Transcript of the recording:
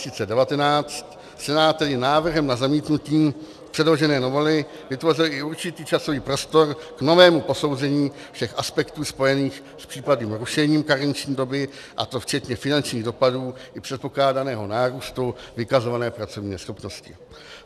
Senát tedy návrhem na zamítnutí předložené novely vytvořil i určitý časový prostor k novému posouzení všech aspektů spojených s případným rušením karenční doby, a to včetně finančních dopadů i předpokládaného nárůstu vykazované pracovní neschopnosti.